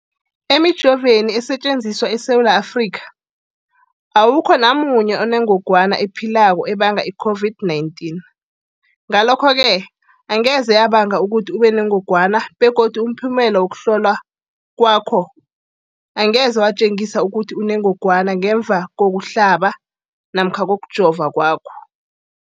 Emijoveni esetjenziswa eSewula Afrika, awukho namunye onengog wana ephilako ebanga i-COVID-19. Ngalokho-ke angeze yabanga ukuthi ubenengogwana begodu umphumela wokuhlolwan kwakho angeze watjengisa ukuthi unengogwana ngemva kokuhlaba namkha kokujova kwakho.